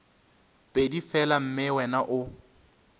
pedi fela mme wena o